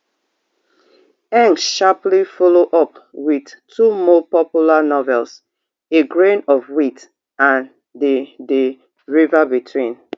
ngg sharply follow up wit two more popular novels a grain of wheat and the the river between